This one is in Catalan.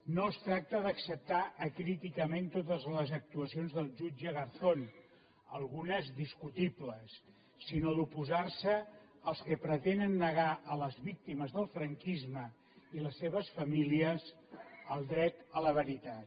no es tracta d’acceptar acríticament totes les actuacions del jutge garzón algunes discutibles sinó d’oposar se als que pretenen negar a les víctimes del franquisme i les seves famílies el dret a la veritat